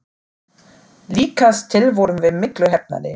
Líkast til vorum við miklu heppnari.